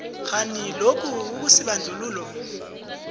kghani lokhu akusibandlululo